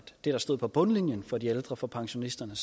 det der stod på bundlinjen for de ældre for pensionisterne